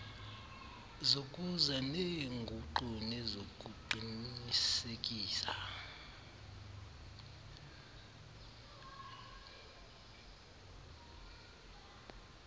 zokuza neenguqu nezokuqinisekisa